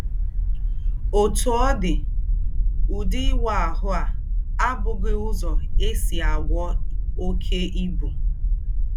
Òtú ọ̀ dí, “údí ìwá àhù́ à àbúghī úzọ́ è sí àgwọ́ óké íbú.